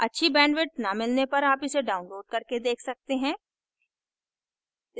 अच्छी bandwidth न मिलने पर आप इसे download करके देख सकते हैं